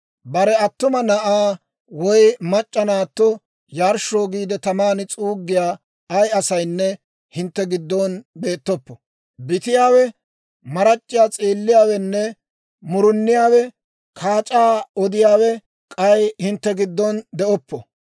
Bare attuma na'aa woy mac'c'a naatto yarshshoo giide, taman s'uuggiyaa ay asaynne hintte giddon beettoppo. Bitiyaawe, marac'c'iyaa s'eelliyaawe, muruniyaawenne kaac'aa odiyaawe k'ay hintte giddon de'oppo.